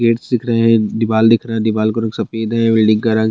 paint सीक रहें हैं दिवाल दिख रहा है दिवाल का रंग सफ़ेद है बिल्डिंग का रंग --